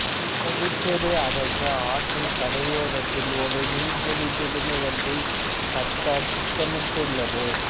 புதுச்சேரி அரசு ஆற்றின் கரையோரத்தில் ஒரு மீன்பிடி துறைமுகத்தைக் கட்ட திட்டமிட்டுள்ளது